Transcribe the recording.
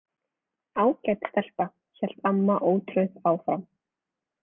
Ágæt stelpa, hélt amma ótrauð áfram.